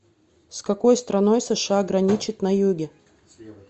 с какой страной сша граничит на юге